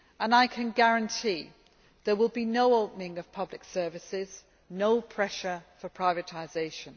I can guarantee there will be no opening of public services, no pressure for privatisation.